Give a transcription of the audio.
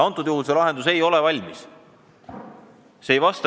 Ja see lahendus ei ole valmis.